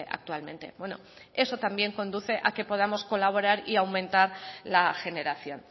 actualmente eso también conduce a que podamos colaborar y aumentar la generación